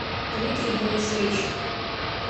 дмитрий денисович